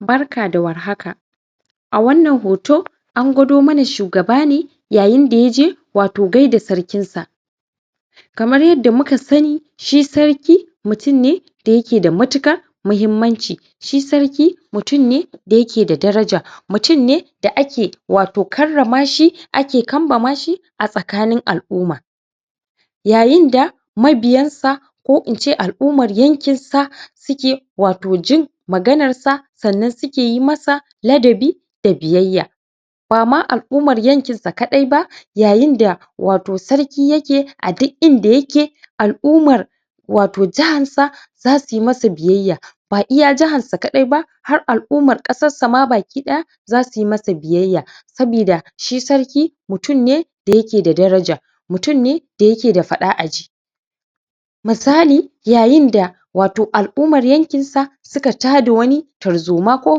Barka da war haka! A wannan hoto, an gwado shugaba ne yayi da ya je wato gaida sarkinsa. Kamar yadda muka sani, shi sarki mutum ne da yake da matuƙar muhimmanci shi sarki mutum ne da yake da daraja. Mutum ne da ake wato karrama shi, ake kambama shi a tsakanin al'uma. Yayin da mabiyansa ko in ce al'umar yankinsa suke wato jin maganarsa, sannan suke yi masa ladabi da biyayya ba ma al'umar yankinsa kaɗai ba yayin wato sarki yake a duk inda yake, al'umar wato jiharsa, za su yi masa biyayya. Ba iya jiharsa kaɗai ba, har al'umar ƙasarsa ma baki ɗaya za su yi masa biyayya sabida sarki mutum ne da yake da daraja; mutum ne da yake da faɗa-a-ji. Misali, yayin da wato al'umar yankinsa suka tada wani tarzoma ko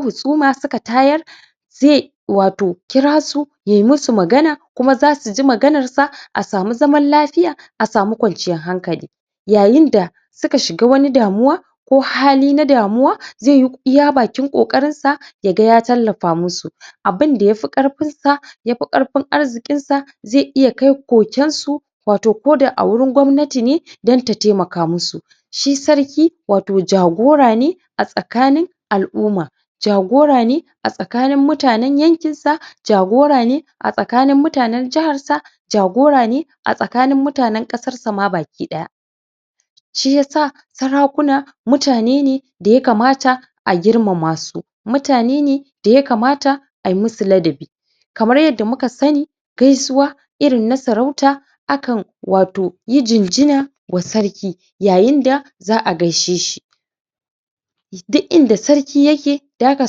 husuma, suka tayar zai wato kira su yai musu magana kuma za su ji maganarsa a samu zaman lafiya, a samu kwanciyar hankali Yayin da suka shiga wani damuwa ko hali na damuwa zai yi iya bakin ƙoƙarinsu ya ga ya tallafa musu abin da ya fi ƙarfinsa, ya fi ƙarfin arzikinsa zai iya kai kokensu wato koda a wurin gwamnati ne don ta taimaka musu. Shi sarki wato jagora ne a tsakanin al'uma jagora ne a tsakanin mutanen yankinsa; jagora ne tsakanin mutanen jiharsa; jagora ne a tsakanin mutanen ƙasarsa ma baki ɗaya. Shi ya sa sarakuna mutane ne da ya kamata a girmama su; mutane ne da ya kamata a musu ladabi Kamar yadda muka sani, gaisuwa irin na sarauta akan wato yi jinjina wasarki yayin da za a gaishe shi. Duk inda sarki yake da ka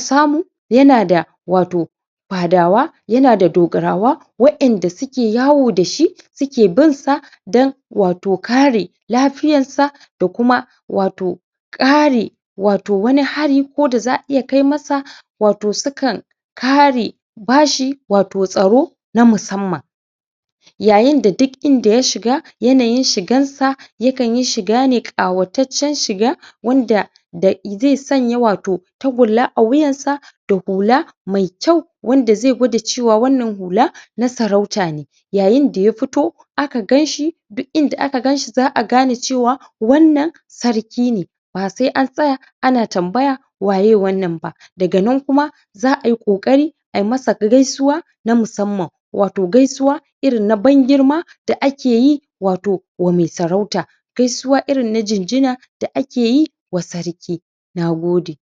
samu yana da wato fadawa, yana da dogarawa waƴanda suke yawo da shi, suke binsa don wato kare lafiyarsa da kuma wato ƙare wato wani ko da za a iya kai masa wato sukan kare ba shi wato tsaro na musamman. Yayin da duk inda ya shiga yanayin shigansa, yakan yi shiga ne ƙawataccen shiga wanda um zai sanya wato tagulla a wuyansa da hula mai kyau wanda zai gwada cewa wannan hula na sarauta ne. Yayin da ya fito aka gan shi, duk aka gan shi za a gane cewa wannan sarki ne, ba sai an tsaya ana tambaya waye wannan ba Daga nan kuma, za a yi ƙoƙari ai masa gaisuwa na musamman, wato gaisuwa irin na ban-girma da ake yi wato wa mai sarauta, gaisuwa irin na jinjina da ake yi wa sarki. Na gode.